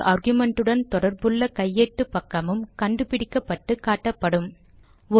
ஒவ்வொரு ஆர்குமென்ட்டுடன் தொடர்புள்ள கையேட்டு பக்கமும் கண்டுபிடிக்கப்பட்டு காட்டப்படும்